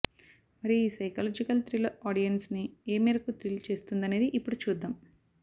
మరి ఈ psychological thriller audience ని ఏ మేరకు థ్రిల్ చేస్తుందనేది ఇప్పుడు చూద్దాం